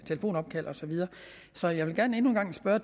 telefonopkald og så videre så jeg vil gerne endnu en gang spørge